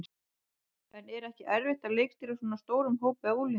En er ekki erfitt að leikstýra svona stórum hópi af unglingum?